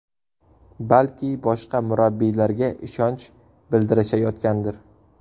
Balki boshqa murabbiylarga ishonch bildirishayotgandir.